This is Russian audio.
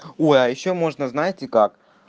ой а я ещё можно знаете как